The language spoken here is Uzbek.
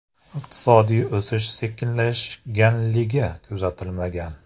Iqtisodiy o‘sish sekinlashganligi kuzatilmagan.